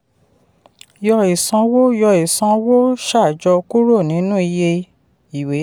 yọ ìsanwó yọ ìsanwó ṣàjọ kúrò nínú iye ìwé.